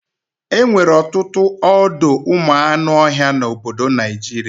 Enwere ọtụtụ ọdọụmụanụọhịa n'obodo Naijiria